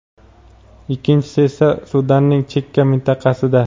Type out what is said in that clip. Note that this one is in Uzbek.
ikkinchisi esa Sudanning chekka mintaqasida.